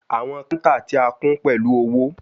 Awọn counter ti a kún pẹlu owo